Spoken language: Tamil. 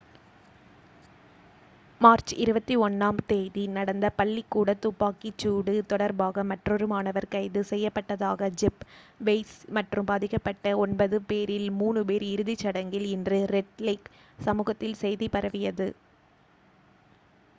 மார்ச் 21-ஆம் தேதி நடந்த பள்ளிக்கூடத் துப்பாக்கிச் சூடு தொடர்பாக மற்றொரு மாணவர் கைது செய்யப்பட்டதாக ஜெஃப் வெயிஸ் மற்றும் பாதிக்கப்பட்ட ஒன்பது பேரில் 3 பேர் இறுதிச் சடங்குகளில் இன்று ரெட் லேக் சமூகத்தில் செய்தி பரவியது